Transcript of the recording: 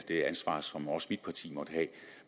det ansvar som også mit parti måtte have